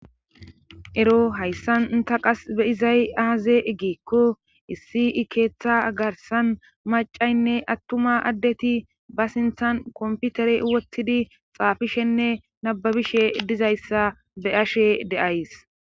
ero hayssan ta qas be izay aaze igiikko issi keeththa garsan macaynne attuma addeti ba sinthan komputere wottidi xaafishenne nababishe dizayssa be' ashe de'ays